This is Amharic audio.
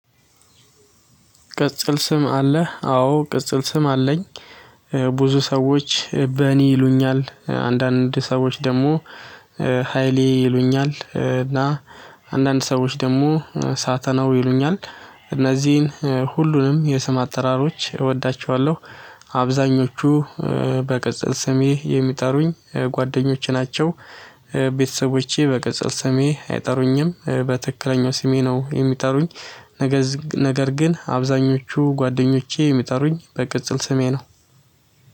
ቅጽል ስም አለህ? አዎ ቅጽል ስም አለኝ። ብዙ ሰዎች በኔ ይሉኛል አንዳንድ ሰዎች ደግሞ ሃይሌ ይሉኛል እና አንዳንድ ሰዎች ደግሞ ሳተናው ይሉኛል። እነዚህን ሁሉንም የስም አጠራሮች እወዳቸዋለሁ። አብዛኞቹ በቅጽል ስሜ የሚጠሩኝ ጓደኞቼ ናቸው። ቤተሰቦቼ በቅጽል ስሜ አይጠሩኝም በትክክለኛው ስሜ ነው የሚጠሩኝ። ነገር ግን አብዛኞቹ ጓደኞቼ ሚጠሩኝ በቅጽል ስሜ ነው።